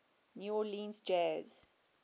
new orleans jazz